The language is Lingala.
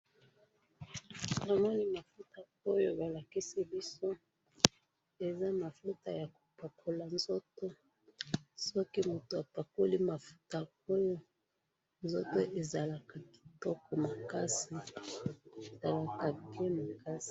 Namoni mafuta oyo balakisi biso, eza mafuta yakopakola nzoto, soki mutu apakoli mafuta oyo nzato ezalaka kitoko makasi, ezalaka bien makasi.